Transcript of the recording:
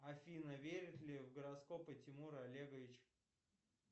афина верит ли в гороскопы тимур олегович